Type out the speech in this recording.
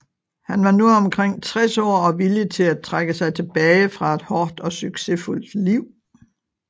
Han var nu omkring 60 år og villig til at trække sig tilbage fra et hårdt og succesfuldt liv